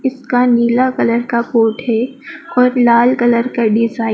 इसका नीला कलर का कोट है और लाल कलर का डिजा--